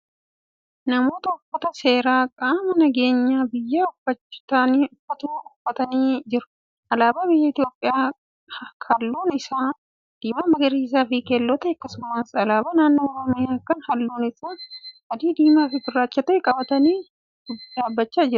Namoota uffata seeraa qaamni nageenya biyyaaf uffaatu uffatanii jiru. alaabaa biyya itoophiyaa kalluun Isaa diimaa magariisafi keelloo ta'e akkasumas alaabaa naannoo oromiyaa Kan halluun Isaa adii, diimaafi gurraacha ta'e qabatanii dhaabachaa jiru.